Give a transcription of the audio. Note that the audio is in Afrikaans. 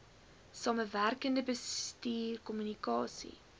samewerkende bestuur kommunikasie